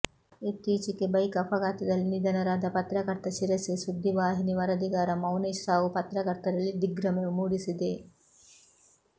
ಇತ್ತೀಚಿಗೆ ಬೈಕ್ ಅಪಘಾತದಲ್ಲಿ ನಿಧನದಾರ ಪತ್ರಕರ್ತ ಶಿರಸಿ ಸುದ್ದಿ ವಾಹಿನಿ ವರದಿಗಾರ ಮೌನೇಶ್ ಸಾವು ಪತ್ರಕರ್ತರಲ್ಲಿ ದಿಗ್ಭ್ರಮೆ ಮೂಡಿಸಿದೆ